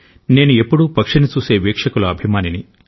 నేను ఎప్పుడూ పక్షిని చూసే వీక్షకుల అభిమానిని